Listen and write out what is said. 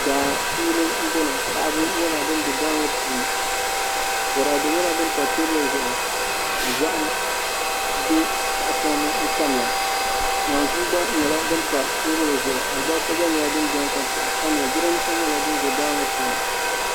Daa puuni n boŋo paɣaba nyɛla bin bɛ daa ŋo puuni boraadɛ nyɛla din pa teebuli zuɣu zaham bɛ tahapoŋ ni n tamya naanzuu gba nyɛla din pa teebuli zuɣu alibarisa gba nyɛla din biɛni ka piɛɣu tamya jiranbiisa gba nyɛla din ʒɛ daa ŋo puuni